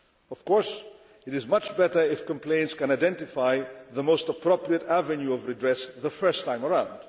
Of course, it is much better if complainants can identify the most appropriate avenue of redress the first time around.